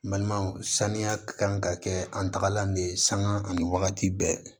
Balimaw saniya kan ka kɛ an tagalan de ye sanga ani wagati bɛɛ